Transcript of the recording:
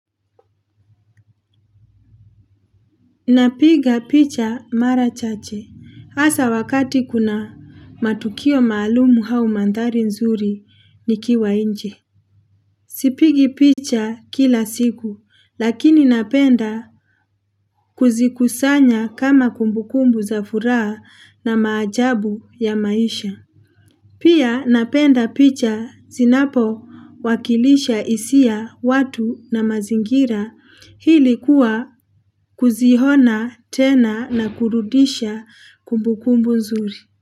Napiga picha mara chache. Hasa wakati kuna matukio maalumu au mandhari nzuri nikiwa nje. Sipigi picha kila siku, lakini napenda kuzikusanya kama kumbukumbu za furaha na maajabu ya maisha. Pia napenda picha zinapowakilisha hisia watu na mazingira ili kuwa kuziona tena na kurudisha kumbukumbu nzuri.